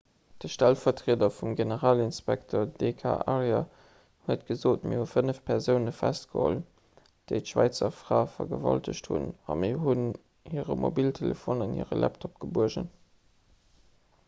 de stellvertrieder vum generalinspekter d k arya huet gesot mir hu fënnef persoune festgeholl déi d'schwäizer fra vergewaltegt hunn a mir hunn hire mobiltelefon an hire laptop gebuergen